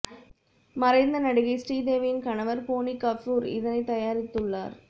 மறைந்த நடிகை ஸ்ரீதேவியின் கணவர் போனி கபூர் இதனைத் தயாரித்துள்ளார்